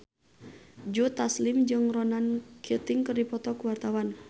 Joe Taslim jeung Ronan Keating keur dipoto ku wartawan